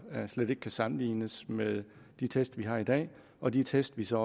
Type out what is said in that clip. slet ikke kan sammenlignes med de test vi har i dag og de test vi så